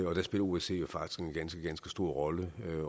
og der spiller osce jo faktisk en ganske ganske stor rolle